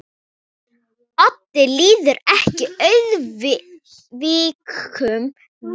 Oddi líður eftir atvikum vel.